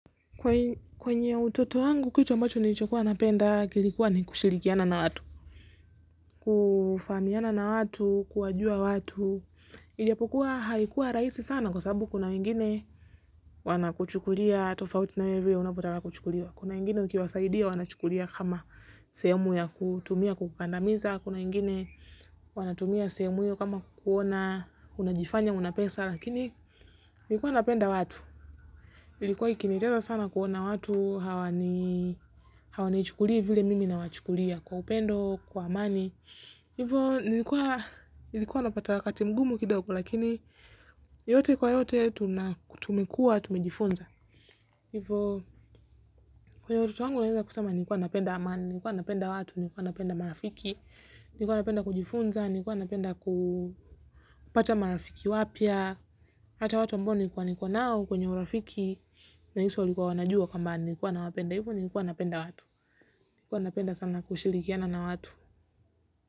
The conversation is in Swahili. Kwa kwenye utoto wangu kitu ambacho nilichokuwa napenda kilikuwa ni kushirikiana na watu. Kufahamiana na watu, kuwajua watu, ijapokuwa haikuwa rahisi sana kwa sababu kuna mingine. Wanakuchukulia tofauti na hivyo unavyotaka kuchukulia, kuna wengine ukiwasaidia wanachukulia kama sehemu ya kutumia kukandamiza, kuna wengine wanatumia sehemu hiyo kama kukuona unajifanya una pesa lakini nlikuwa napenda watu. Ilikuwa ikinetesa sana kuona watu hawani chukulii vile mimi nawachukulia kwa upendo, kwa amani. Hivo nilikuwa nilikuwa napata wakati mgumu kidogo la kijami I yote kwa yote tumekuwa Tunajifunza. Hivo kwenye utoto wangu naweza kusema nikuwa napenda amani, nikuwa napenda watu, nikuwa napenda marafiki, nikuwa napenda kujifunza, nikuwa napenda kupata marafiki wapya. Hata watu ambao niko nao kwenye urafiki nahisi walikuwa wanajua kwamba nilikuwa nawapenda hivyo nikuwa napenda watu Nlikuwa napenda sana kushirikiana na watu.